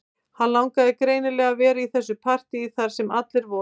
Hann langaði greinilega að vera í þessu partíi þar sem allir voru